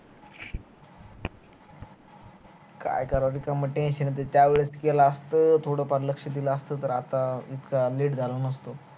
काय कराव त मला tension येत त्यावेळेस केल असत थोड फार लक्ष्य दिल असत तर आता late झालो नसतो